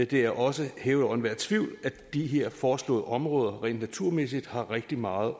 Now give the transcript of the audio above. det er også hævet over enhver tvivl at de her foreslåede områder rent naturmæssigt har rigtig meget